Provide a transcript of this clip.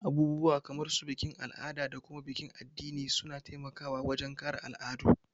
Abubuwa kamar su bikin al'ada da kuma bikin addini suna taimaka wajen kare al'adu